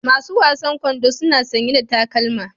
Masu wasan kwando suna sanye da takalma.